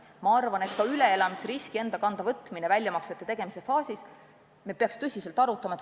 Ma arvan, et ka toimetulekuriski enda kanda võtmist väljamaksete tegemise perioodil me peaks tõsiselt arutama.